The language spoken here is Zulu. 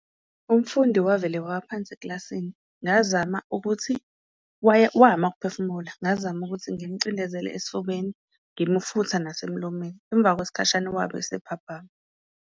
Umfundi wavele wawa phansi eklasini, ngazam ukuthi, wama ukuphefumula, ngazama ukuthi ngimucindezele esifubeni ngimufutha nasemlomeni, emva kwesikhashana wabe esephaphama.